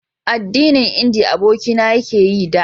addinin indiya abokina ya ke yi da